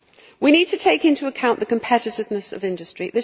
We need to take into account the competitiveness of industry.